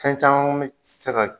Fɛn caman mi se ka